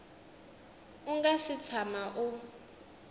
u nga si tshama u